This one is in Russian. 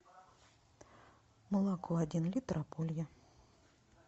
молоко один литр ополье